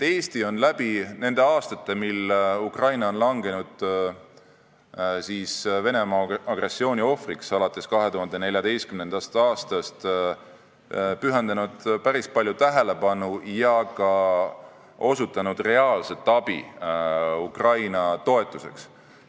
Eesti on läbi nende aastate, mil Ukraina on olnud Venemaa agressiooni ohver, alates 2014. aastast, pühendanud sellele probleemile päris palju tähelepanu ja osutanud ka reaalset abi Ukraina toetuseks.